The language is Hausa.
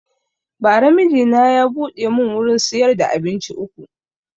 Ba ra mijina ya buɗe mun wurin siyar da abinci uku